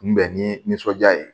Kunbɛn ni nisɔndiya ye